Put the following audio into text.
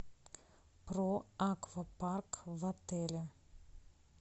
про аквапарк в отеле